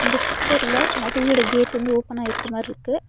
இந்த பிச்சர்ல மசுதியோட கேட் வந்து ஓப்பனாயிருக்க மார் இருக்கு.